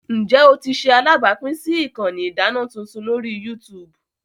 Njẹ o ti ṣe alabapin si ikanni idana tuntun lori YouTube?